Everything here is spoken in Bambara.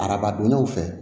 Arabadonnaw fɛ